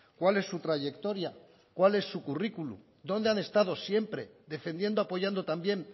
cuál es su trayectoria cuál es su currículo dónde han estado siempre defendiendo apoyando también